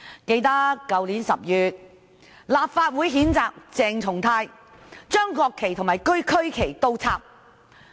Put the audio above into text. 記得在去年10月，立法會譴責鄭松泰議員倒插國旗和區旗。